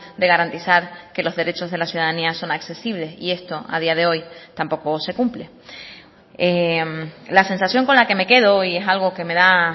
de garantizar que los derechos de la ciudadanía son accesibles y esto a día de hoy tampoco se cumple la sensación con la que me quedo y es algo que me da